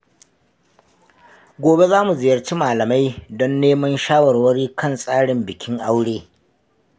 Gobe za mu ziyarci malamai don neman shawarwari kan tsarin bikin aure.